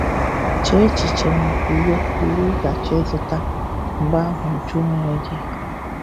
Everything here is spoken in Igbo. Chee echiche maka uwe uwe ị ga-achọ ịzụta. Mgbe ahụ jụọ onwe gị: